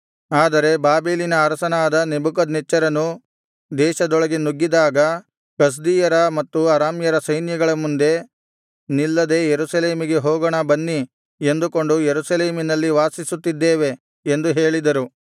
ಆದರೆ ಬಾಬೆಲಿನ ಅರಸನಾದ ನೆಬೂಕದ್ನೆಚ್ಚರನು ದೇಶದೊಳಗೆ ನುಗ್ಗಿದಾಗ ಕಸ್ದೀಯರ ಮತ್ತು ಅರಾಮ್ಯರ ಸೈನ್ಯಗಳ ಮುಂದೆ ನಿಲ್ಲದೆ ಯೆರೂಸಲೇಮಿಗೆ ಹೋಗೋಣ ಬನ್ನಿ ಎಂದುಕೊಂಡು ಯೆರೂಸಲೇಮಿನಲ್ಲಿ ವಾಸಿಸುತ್ತಿದ್ದೇವೆ ಎಂದು ಹೇಳಿದರು